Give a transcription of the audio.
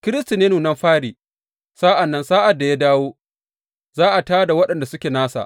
Kiristi ne nunan fari; sa’an nan sa’ad da ya dawo; za a tā da waɗanda suke nasa.